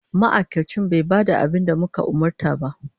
Ma'aikacin bai ba da abin da muka umarta ba.